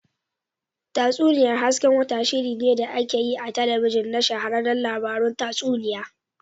Tatsuniyar hasken wata, shirinne da ake yi a talabijin na shahararren labarun tatsuniya.